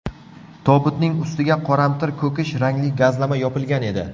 Tobutning ustiga qoramtir ko‘kish rangli gazlama yopilgan edi.